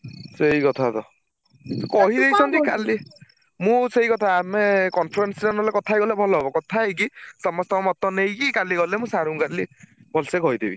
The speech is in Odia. ସେଇ କଥାତ ମୁଁ ସେଇକଥା ଆମେ conference ରେ ନହେଲେ କଥା ହେଇଗଲେ ଭଲ ହବ,